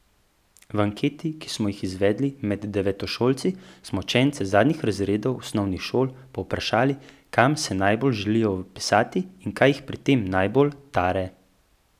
V anketi, ki smo jo izvedli med devetošolci, smo učence zadnjih razredov osnovnih šol povprašali, kam se najbolj želijo vpisati in kaj jih pri tem najbolj tare.